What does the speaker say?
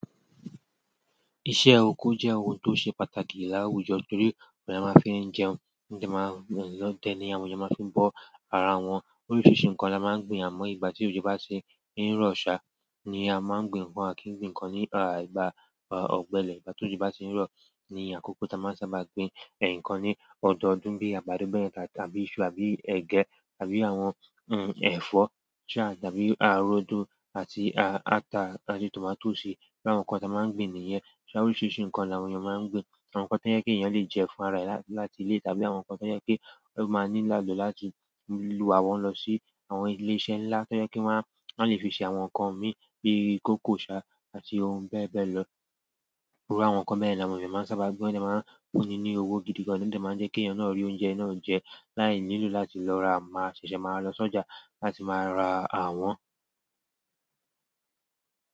Iṣẹ́ oko jẹ́ ohun tó ṣe pàtàkì láwùjọ torí òhun ni àwọn èyàn máa ń fi jẹun, òhun dẹ̀ ni àwọn èèyàn máa ń fi bọ́ ara wọn. Oríṣiríṣi nǹkan ni a máa ń gbin àmọ́ ìgbà tí òjò bá tí ń rọ̀ ṣá ni a máa ń gbin ǹkan a kì n gbìn ǹkan ní ilìgbà ọ̀gbẹlẹ̀. Ìgbà tí òjò bá ti ń rọ̀ ni àkókò tí a máa ń sábà gbin ǹkan ní ọdọọdún bíi àgbàdo bẹ́yẹn tàbí iṣu, àbí ẹ̀gẹ́ àbí àwọn ẹ̀fọ́ ṣá tàbí rodo àti ata àti tòmátó si. Bí àwọn nǹkan tí a máa ń gbin nìyẹn. Ṣé àwọn oríṣiríṣi nǹkan ni àwọn èèyàn máa ń gbìn. Àwọn nǹkan tó jẹ́ pé èèyàn lè jẹ fún ara rẹ̀ láti ilé tàbí àwọn nǹkan tó jẹ́ pé ó máa nílò láti wà wọ́n lọ sí àwọn ilé iṣẹ́ ńlá tó jẹ́ pé wọ́n á, wọ́n á lè fi ṣe àwọn nǹkan míì bíi kókò ṣá àti ohun bẹ́ẹ̀ bẹ́ẹ̀ lọ. Irú àwọn nǹkan bẹ́yẹn ni àwọn èèyàn máa ń sábà gbìn. Wọ́n sì máa ń póni ní owó gidi gan ni ó sì máa ń jẹ́ kí èèyàn náà rí oúnjẹ náà jẹ láì nílò láti lọ ra máa ṣẹ̀ṣẹ̀ máa lọ sójà láti máa ra àwọ́n.